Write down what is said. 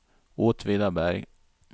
Åtvidaberg